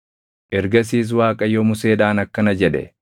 Ergasiis Waaqayyo Museedhaan akkana jedhe;